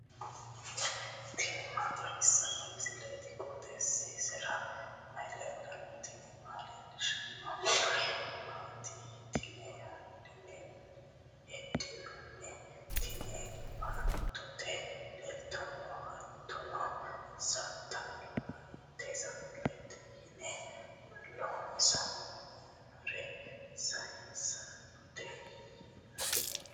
tini maa xawissanno misileeti? qooxeessisera may leellanno? tenne aana leellannori maati yitine heddinanni? Tini baattote luleetinna hattono satalayiitete konne loossinori sayiinsistootaho yinanni.